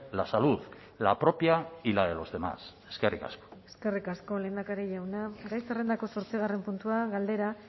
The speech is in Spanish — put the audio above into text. la salud la propia y la de los demás eskerrik asko eskerrik asko lehendakari jauna gai zerrendako zortzigarren puntua galdera